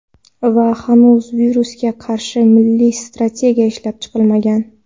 Va hanuz virusga qarshi milliy strategiya ishlab chiqilmagan.